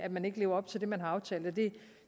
man ikke lever op til det man har aftalt